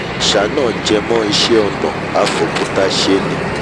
àṣà náà jẹmọ́ iṣẹ́ ọnà af'òkúta ṣe ni